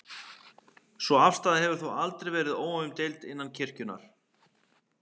Sú afstaða hefur þó aldrei verið óumdeild innan kirkjunnar.